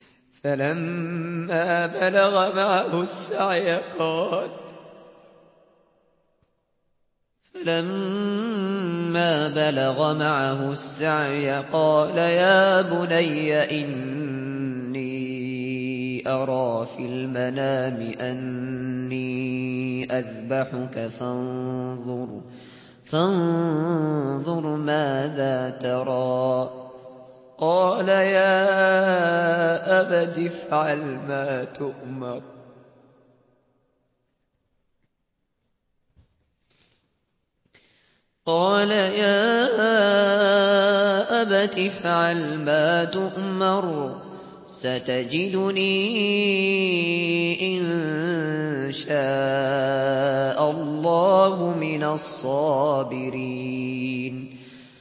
فَلَمَّا بَلَغَ مَعَهُ السَّعْيَ قَالَ يَا بُنَيَّ إِنِّي أَرَىٰ فِي الْمَنَامِ أَنِّي أَذْبَحُكَ فَانظُرْ مَاذَا تَرَىٰ ۚ قَالَ يَا أَبَتِ افْعَلْ مَا تُؤْمَرُ ۖ سَتَجِدُنِي إِن شَاءَ اللَّهُ مِنَ الصَّابِرِينَ